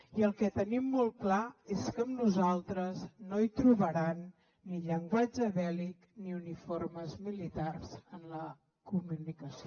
i el que tenim molt clar és que amb nosaltres no trobaran ni llenguatge bèl·lic ni uniformes militars en la comunicació